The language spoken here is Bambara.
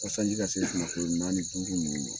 Ko sanji ka se nako naani ni duuru ninnu ye